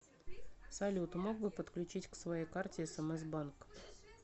салют мог бы подключить к своей карте смс банк